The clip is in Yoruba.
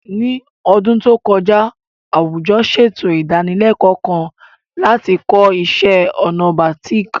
Ní ọdún tó kọjá, àwùjọ ṣètò ìdánilẹ́kọ̀ọ́ kan láti kọ́ iṣẹ́ ọnà bàtíìkì